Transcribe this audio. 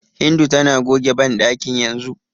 Hindu tana goge banɗakin yanzu.